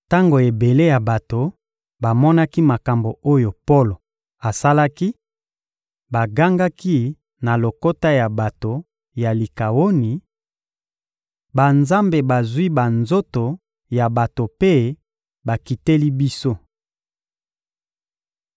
Tango ebele ya bato bamonaki makambo oyo Polo asalaki, bagangaki na lokota ya bato ya Likawoni: — Banzambe bazwi banzoto ya bato mpe bakiteli biso!